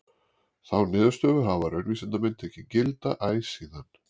Þá niðurstöðu hafa raunvísindamenn tekið gilda æ síðan.